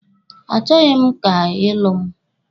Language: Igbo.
A chọghi m ka ị lụọ mụ.